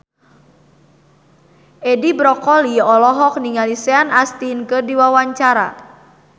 Edi Brokoli olohok ningali Sean Astin keur diwawancara